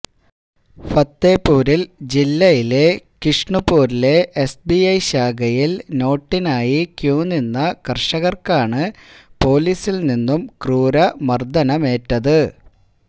ഫത്തേപൂരില് ജില്ലയിലെ കിഷുണ്പൂരിലെ എസ്ബിഐ ശാഖയില് നോട്ടിനായി ക്യൂ നിന്ന കര്ഷകര്ക്കാണ് പൊലീസില് നിന്നും ക്രൂര മര്ദനമേറ്റത്